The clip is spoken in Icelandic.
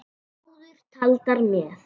Áður taldar með